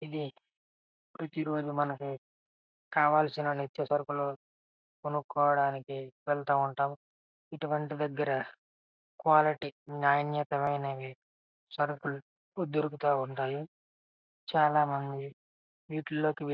ఇది రోచి కవలిసెఇన నిత్య సరుకోలు కొనుకోవడానికి వెళుతూ ఉంటాము. కులిత్య ననతమయనవి అని సరుకులు దొరుకొతు ఉనతే చాల వారికీ చాల మంది అముతునత్రు--